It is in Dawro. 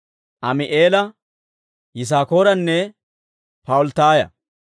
Ami'eela, Yisaakooranne Pa'ulttaaya.